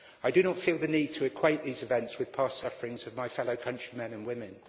I do not feel the need to equate these events with past sufferings of my fellow countrymen and women.